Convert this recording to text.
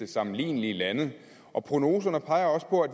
sammenlignelige lande og prognoserne peger også på at